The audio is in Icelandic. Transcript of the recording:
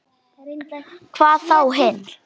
Hvað þá hinn.